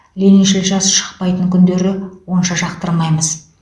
лениншіл жас шықпайтын күндері онша жақтырмаймыз